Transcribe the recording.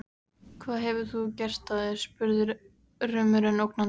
Hvað hefur þú gert af þér? spurði rumurinn ógnandi.